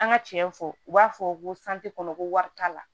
An ka tiɲɛ fɔ u b'a fɔ ko kɔnɔ ko wari t'a la